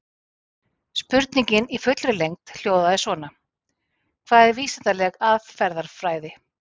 Spurningin í fullri lengd hljóðaði svona: Hvað er vísindaleg aðferðafræði?